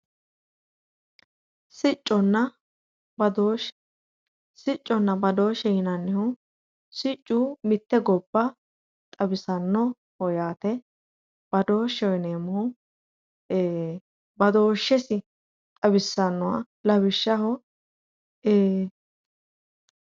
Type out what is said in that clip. Sicconna badoshshe, sicconna badoshshe yinnannihu siccu mitte gobba xawisanoho yaate, badoshsheho yineemmohu badoshshe xawisanoha lawishshaho ee.